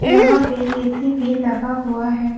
यहां पे ए_सी भी लगा हुआ है।